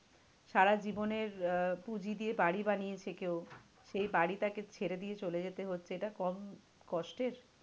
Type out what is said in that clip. সারা জীবনের আহ পুঁজি দিয়ে বাড়ি বানিয়েছে কেউ, সেই বাড়ি তাকে ছেড়ে দিয়ে চলে যেতে হচ্ছে এটা কম কষ্টের?